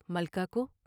ملکہ کو